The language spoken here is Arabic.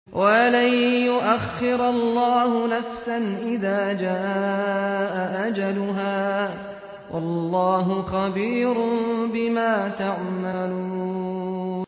وَلَن يُؤَخِّرَ اللَّهُ نَفْسًا إِذَا جَاءَ أَجَلُهَا ۚ وَاللَّهُ خَبِيرٌ بِمَا تَعْمَلُونَ